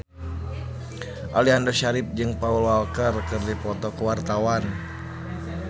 Aliando Syarif jeung Paul Walker keur dipoto ku wartawan